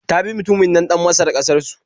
Ta bi mutunin nan ɗan Masar ƙasar su